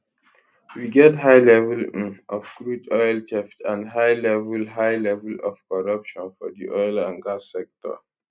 we get high level um of crude oil theft and high level high level of corruption for di oil and gas sector